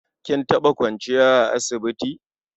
Kin taɓa kwanciya a asibiti?